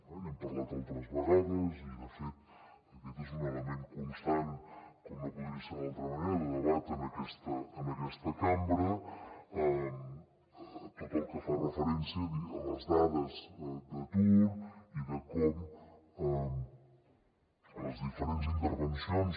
n’hem parlat altres vegades i de fet aquest és un element constant com no podria ser d’altra manera de debat en aquesta cambra tot el que fa referència a les dades d’atur i de com les diferents intervencions